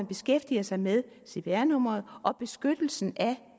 beskæftiger sig med cpr nummeret og beskyttelsen af